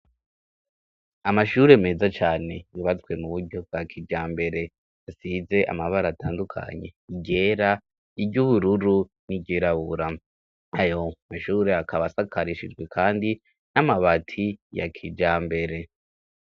Amashure meza cane yubatswe mu buryo bwa kijambere, asize amabara atandukanye iryera, iry'ubururu n'iryirabura, ayo mashure akaba asakarishijwe kandi n'amabati ya kijambere.